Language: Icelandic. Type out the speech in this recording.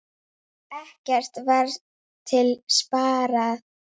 Ekkert var til sparað.